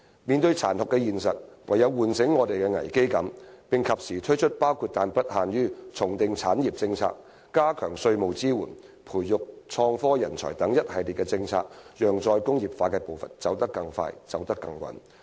面對殘酷的現實，我們應有危機感，而政府應及時推出一系列措施，包括但不限於重訂產業政策、加強稅務支援，以及培育創科人才，讓"再工業化"的步伐走得更快，走得更穩。